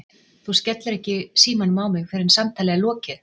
Þú skellir ekki símanum á mig fyrr en samtali er lokið!!!